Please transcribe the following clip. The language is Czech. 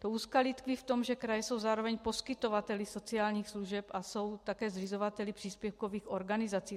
To úskalí tkví v tom, že kraje jsou zároveň poskytovateli sociálních služeb a jsou také zřizovateli příspěvkových organizací.